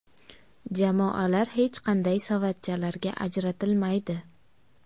Jamoalar hech qanday savatchalarga ajratilmaydi.